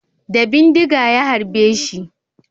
Da bindiga ya harbeshi